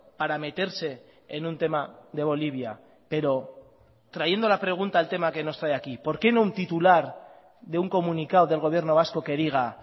para meterse en un tema de bolivia pero trayendo la pregunta al tema que nos trae aquí por qué no un titular de un comunicado del gobierno vasco que diga